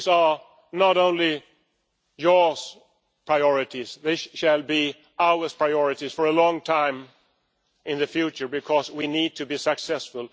These are not only its priorities, they shall be our priorities for a long time in the future because we need to be successful.